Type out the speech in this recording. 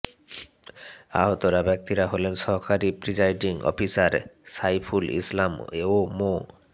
আহতরা ব্যক্তিরা হলেন সহকারী প্রিজাইডিং অফিসার সাইফুল ইসলাম ও মো